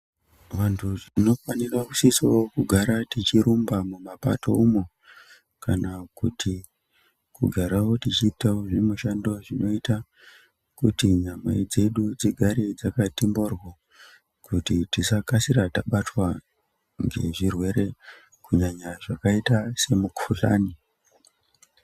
Vantu tinofanirs siso gara tichirumba mumapato umo kana kugarawo tichiita zvimushando zvinoita kuti nyama dzedu dzigare dzakati mbohlo kuti tisakasira tabatwa ngezvirwere kunyanya zvakaita semukuhlani.